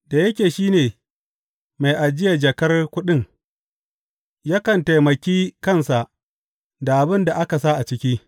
Da yake shi ne mai ajiya jakar kuɗin, yakan taimaki kansa da abin da aka sa a ciki.